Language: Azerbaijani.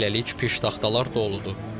Hələlik piştaxtalar doludur.